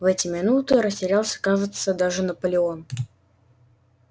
в эти минуты растерялся кажется даже наполеон